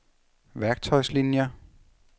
værktøjslinier